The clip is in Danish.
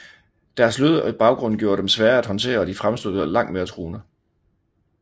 Deres slørede baggrund gjorde dem svære at håndtere og de fremstod langt mere truende